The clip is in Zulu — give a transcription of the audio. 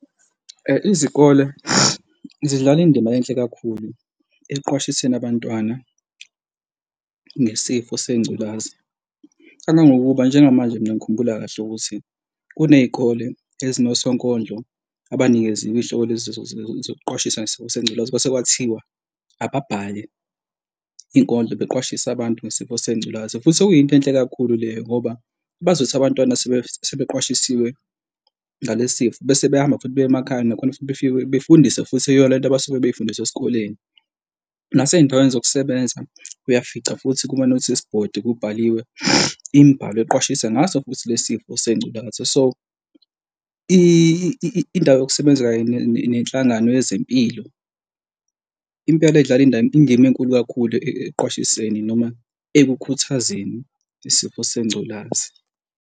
Izikole zidlala indima enhle kakhulu ekuqwashiseni abantwana ngesifo sengculazi kangangokuba njengamanje. Mina ngikhumbula kahle ukuthi kuney'kole ezinosonkondlo abanikeziwe iy'hlobo lazi ezokuqwashisa ngesifo sengculaza. Kwase kwathiwa abhale inkondlo beqwashise abantu ngesifo sengculazi, futhi okuyinto enhle kakhulu leyo ngoba bazothi abantwana sebeqhashisiwe ngale sifo bese beyahamba futhi baye emakhaya nakhona futhi befike befundise futhi iyo lento abasuke bey'fundiswe esikoleni. Nasey'ndaweni zokusebenza uyafica futhi kuma-notice board kubhaliwe imibhalo eqwashisa ngaso futhi le sifo sengculaza. So, indawo yokusebenza kanye nenhlangano yezempilo impela idlala indima enkulu kakhulu ekuqwashiseni noma ekukhuthazeni isifo sengculazi.